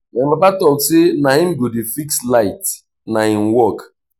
my papa tok say na him go dey fix light na im work.